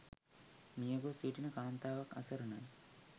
මියගොස් සිටින කාන්තාව අසරණයි.